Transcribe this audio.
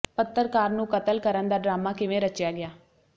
ਪੱਤਰਕਾਰ ਨੂੰ ਕਤਲ ਕਰਨ ਦਾ ਡਰਾਮਾ ਕਿਵੇਂ ਰਚਿਆ ਗਿਆ